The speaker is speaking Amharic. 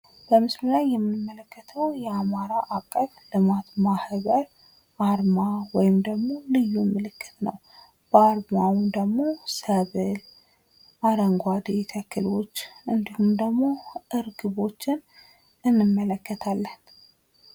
በምስሉ ላይ የምንመለከተው የአማራ አቀፍ ልማት ማህበር አርማ ወይም ደግሞ ልዩ ምልክት ነው። በአርማውም ደግሞ ሰብል አረንጓዴ ተክሎች እንዲሁም ደግሞ ርግቦችን እንመለከታለን።